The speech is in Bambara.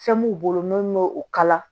Fɛn m'u bolo n'u ye o kala